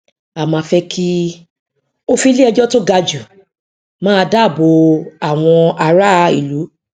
à má kí fẹ òfin ilé ejò tí ó ga jù má dá bò àwọn ará ìlú